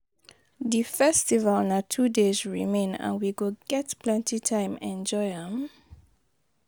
Di festival na two days remain, and we go get plenty time enjoy am.